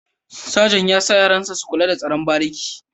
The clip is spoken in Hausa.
Sajant ya sa yaran sa su kula da tsaron bariki